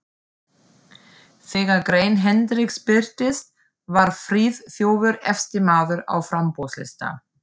Þegar grein Hendriks birtist, var Friðþjófur efsti maður á framboðslista